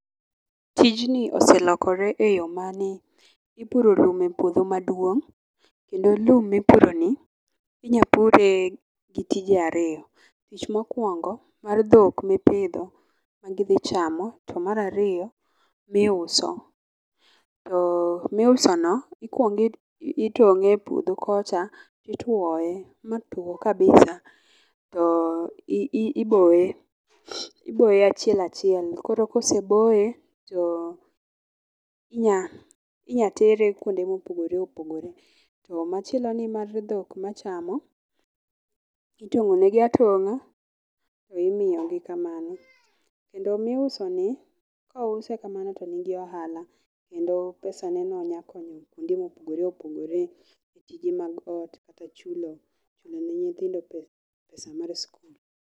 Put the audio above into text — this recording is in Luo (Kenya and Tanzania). Tijni oselokore eyoo mane? ipuro lum e puodho maduong' kendo lum mipuro ni inya pure gi tije ariyo . Tich mokwongo mar dhok mopidho gidhi cham mar ariyo miuso. To miuso no ikwong itong'e puodho kocha itwoye ma tuo kabisa to i iboye iboye achiel achiel. koro koseboye to inya inya tere kuonde mopogore opogore .To machielo ni magi dhok machamo itong'o ne gi atong'a to imiyo gi kamano kendo miuso ni kouse kamano to nigi ohala kendo pesa neno nya konyo kuonde mopogore opogore e tije mag ot kata chulo ne nyithindo pesa mag skul.